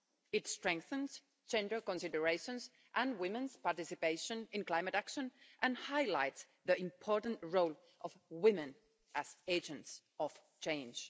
It strengthens gender considerations and women's participation in climate action and highlights the important role of women as agents of change.